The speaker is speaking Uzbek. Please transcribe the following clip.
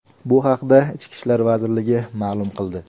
Bu haqda Ichki ishlar vazirligi ma’lum qildi .